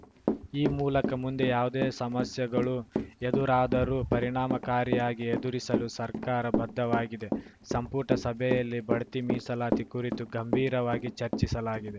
ಈ ಮೂಲಕ ಮುಂದೆ ಯಾವುದೇ ಸಮಸ್ಯೆಗಳು ಎದುರಾದರೂ ಪರಿಣಾಮಕಾರಿಯಾಗಿ ಎದುರಿಸಲು ಸರ್ಕಾರ ಬದ್ಧವಾಗಿದೆ ಸಂಪುಟ ಸಭೆಯಲ್ಲಿ ಬಡ್ತಿ ಮೀಸಲಾತಿ ಕುರಿತು ಗಂಭೀರವಾಗಿ ಚರ್ಚಿಸಲಾಗಿದೆ